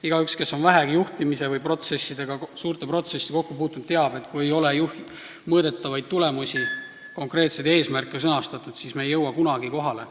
Igaüks, kes on vähegi juhtimise või suurte protsessidega kokku puutunud, teab, et kui ei ole mõõdetavaid tulemusi ega konkreetseid eesmärke sõnastatud, siis ei jõuta kunagi kohale.